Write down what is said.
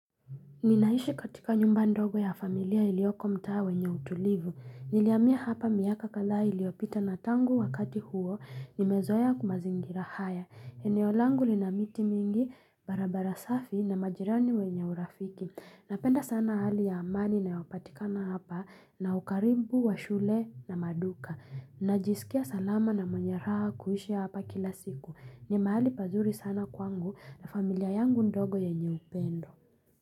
Ninaishi katika nyumba ndogo ya familia iliyoko mtaa wenye utulivu. Nilihamia hapa miaka kadhaa iliyopita na tangu wakati huo, nimezoea mazingira haya. Eneo langu lina miti mingi, barabara safi na majirani wenye urafiki. Napenda sana hali ya amani inayopatikana hapa na ukaribu wa shule na maduka. Najisikia salama na mwenye raha kuhishi hapa kila siku. Ni mahali pazuri sana kwangu na familia yangu ndogo yenye upendo.